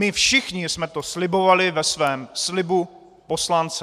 My všichni jsme to slibovali ve svém slibu poslance!